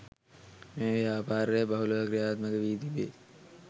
මෙම ව්‍යාපාරය බහුලව ක්‍රියාත්මක වී තිබේ